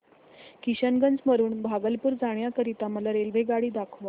किशनगंज वरून भागलपुर जाण्या करीता मला रेल्वेगाडी दाखवा